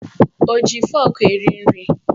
O ji fọrkụ rie nri?